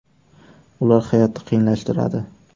Ular hayotni qiyinlashtiradi.